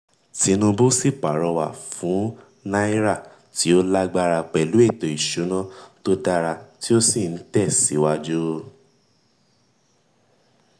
tinubu sì pàrọ̀wà fún náírà tí ó lágbára pẹ̀lú ètò ìsúná tó dára tí ó sì ń tẹ síwájú.